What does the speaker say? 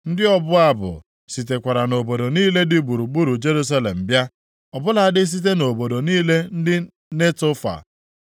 Ndị ọbụ abụ sitekwara nʼobodo niile dị gburugburu Jerusalem bịa, ọ bụladị site nʼobodo niile ndị Netofa,